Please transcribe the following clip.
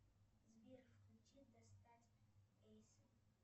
сбер включи достать эйса